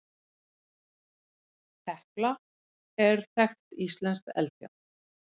Hekla er þekkt íslenskt eldfjall.